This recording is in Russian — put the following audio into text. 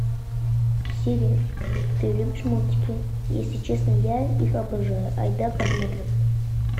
сири ты любишь мультики если честно я их обожаю айда посмотрим